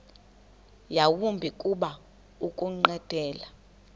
yawumbi kuba ukunqwenela